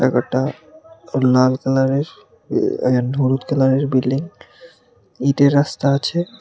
ওটা ও লাল কালারের এ হলুদ কালারের বিল্ডিং ইটের রাস্তা আছে।